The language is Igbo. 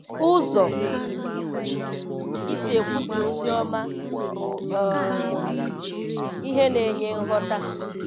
Ụzọ i si ekwusa ozi ọma bụ um ihe na-enye nghọta.